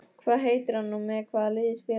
Hvað heitir hann og með hvaða liði spilar hann?